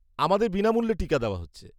আমাদের বিনামূল্যে টিকা দেওয়া হচ্ছে।